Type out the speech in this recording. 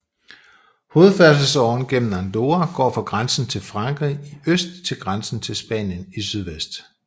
Hovedfærdselsåren gennem Andorra går fra grænsen til Frankrig i øst til grænsen til Spanien i sydvest